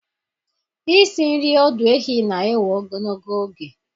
Isi nri ọdụ ehi na-ewe ogologo oge.